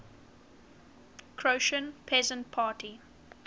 croatian peasant party